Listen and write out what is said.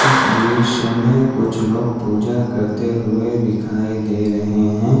इस दृश्य में कुछ लोग पूजा करते हुए दिखाई दे रहे हैं ।